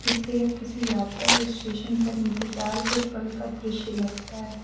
यह किसी यात्रा या स्टेशन पर इंतजार के पल का दृश्य लगता --